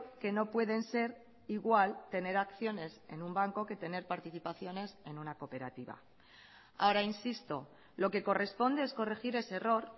que no pueden ser igual tener acciones en un banco que tener participaciones en una cooperativa ahora insisto lo que corresponde es corregir ese error